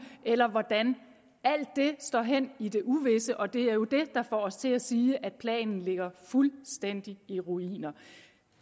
eller hvordan alt det står hen i det uvisse og det er jo det der får os til at sige at planen ligger fuldstændig i ruiner